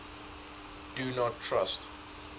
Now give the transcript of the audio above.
do not trust